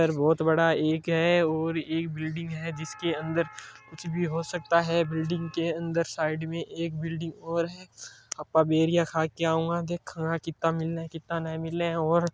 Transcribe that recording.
पर बहुत बड़ा इक है और ई बिल्डिंग है जिसके अंदर कुछ भी हो सकता है बिल्डिंग के अंदर साइड में एक बिल्डिंग और है आपां बेरिया खा के आंवा देखां हां कित्ता मिले कित्ता नई मिले और --